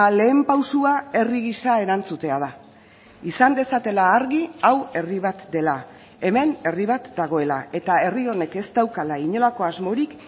lehen pausua herri gisa erantzutea da izan dezatela argi hau herri bat dela hemen herri bat dagoela eta herri honek ez daukala inolako asmorik